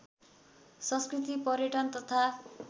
संस्कृति पर्यटन तथा